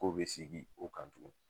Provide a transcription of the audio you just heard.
Ko be segin o kan tugun.